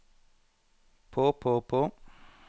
på på på